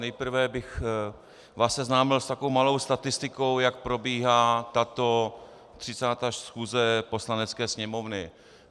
Nejprve bych vás seznámil s takovou malou statistikou, jak probíhá tato 36. schůze Poslanecké sněmovny.